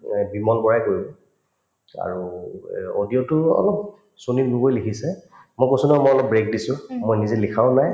এই, বিমল বৰাই আৰু এই audio তো অলপ সুনীল লিখিছে মই কৈছো নহয় মই অলপ break দিছো মই নিজে লিখাও নাই